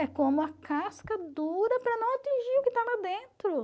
É como a casca dura para não atingir o que está lá dentro.